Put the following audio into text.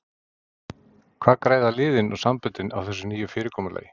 Hvað græða liðin og samböndin á þessu nýja fyrirkomulagi?